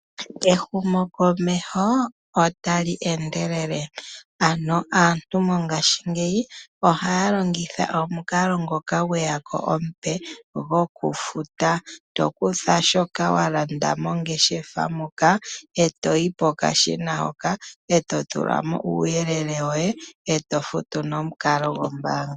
Ehumokomeho otali endelele aantu mongashingeyi ohaya longitha omukalo omupe gokufuta, tokutha shoka wa landa mongeshefa moka e toyi pokashina eto tula mo uuyelele woye eto futu nomukalo gombaanga.